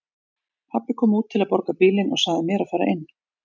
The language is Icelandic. Pabbi kom út til að borga bílinn og sagði mér að fara inn.